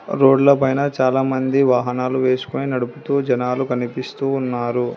రోడ్ల పైన చాలామంది వాహనాలు వేసుకొని నడుపుతూ జనాలు కనిపిస్తూ ఉన్నారు.